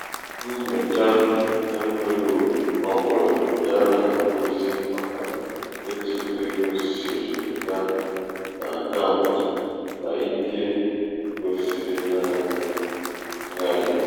nnyòcha envelōōpù ọbụ̄là ya nà ozi màkà etu egō sìrì gaa n’àkaụ̀ǹtụ̀ n’ike n’ike gòsìrì naānị̄ ṅgharị̀pụ